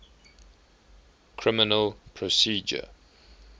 criminal procedure